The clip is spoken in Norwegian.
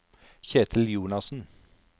Kjetil Jonassen